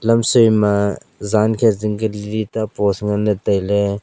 lam soi ma jan ke jing ka li post ta taile.